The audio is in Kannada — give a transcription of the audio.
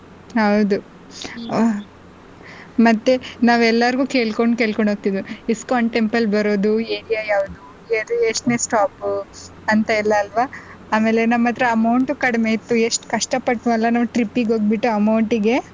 ಹೌದು ಹಾ ಮತ್ತೆ ನಾವ್ ಎಲ್ಲಾರ್ಗು ಕೇಳ್ಕೊಂಡ್ ಕೇಳ್ಕೊಂಡ್ ಹೋಗ್ತಿದ್ದು ISKCON temple ಬರೋದು area ಯಾವ್ದು ಎಷ್ಟೇನೇ stop ಅಂತ ಎಲ್ಲ ಅಲ್ವಾ ಆಮೇಲೆ ನಮ್ಮತ್ರ amount ಕಡಿಮೆ ಇತ್ತು ಎಷ್ಟು ಕಷ್ಟ ಪಟ್ಟ್ವು ಅಲ್ವಾ trip ಗೆ ಹೋಗ್ಬಿಟ್ಟು.